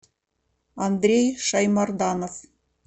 андрей шаймарданов